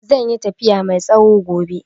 Zai yi tafiya mai tsawo gobe.